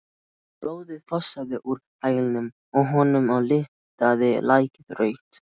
Blóðið fossaði úr hælnum á honum og litaði lakið rautt.